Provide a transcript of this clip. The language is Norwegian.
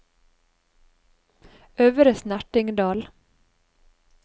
Øvre Snertingdal